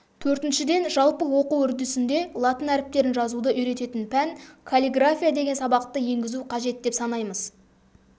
төртіншіден жалпы оқу үрдісінде латын әріптерін жазуды үйрететін пән каллиграфия деген сабақты енгізу қажет деп санаймыз